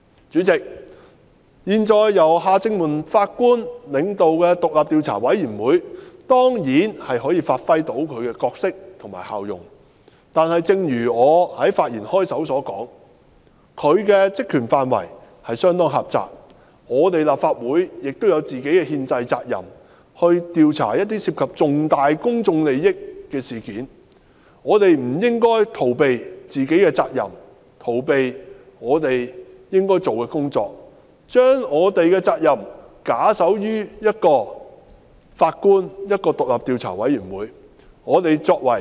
主席，現時由前法官夏正民領導的獨立調查委員會，當然可以發揮其角色和效用，但正如我在發言開首時所說，調查委員會的職權範圍相當狹窄，而立法會亦有本身的憲制責任，調查一些涉及重大公眾利益的事件，我們不應逃避自身的責任，以及逃避我們應做的工作，把我們的責任假手於一名前法官及一個獨立調查委員會。